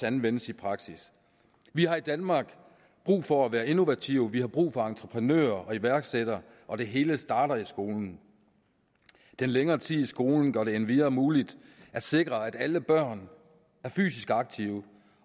anvendes i praksis vi har i danmark brug for at være innovative vi har brug for entreprenører og iværksættere og det hele starter i skolen den længere tid i skolen gør det endvidere muligt at sikre at alle børn er fysisk aktive